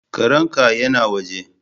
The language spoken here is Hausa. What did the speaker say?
Karen ka ya na waje.